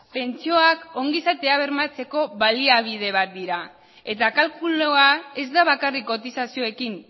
pentsioak ongizatea bermatzeko baliabide bat dira eta kalkulua ez da bakarrik kotizazioekin